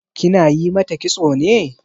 Kina yi mata kitso ne?